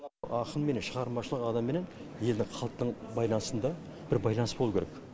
ақынменен шығармашылық адамыменен елдің халықтың байланысында бір байланыс болу керек